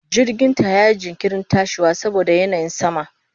Jirginta yayi jinkirin tashiwa saboda yanayin sama.